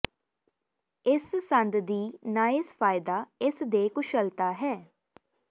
ਇਸ ਸੰਦ ਦੀ ਨਾਇਸ ਫਾਇਦਾ ਇਸ ਦੇ ਕੁਸ਼ਲਤਾ ਹੈ